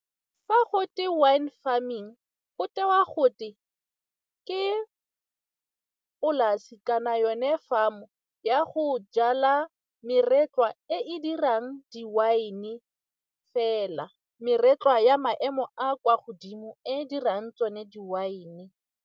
Fa go twe wine farming, go tewa gote ke polase kana yone farm-o ya go jala meretlwa e e dirang di-wine-e fela meretlwa ya maemo a kwa godimo e dirang tsone di-wine-e.